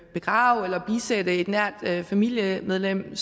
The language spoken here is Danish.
begrave eller bisætte et nært familiemedlem ved